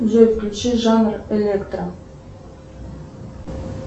джой включи жанр электро